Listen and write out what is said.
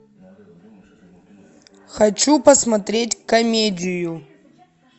хочу посмотреть комедию